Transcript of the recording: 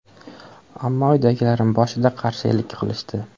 Ammo uydagilarim boshida qarshilik qilishdi.